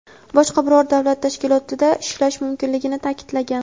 boshqa biror davlat tashkilotida ishlashi mumkinligini ta’kidlagan.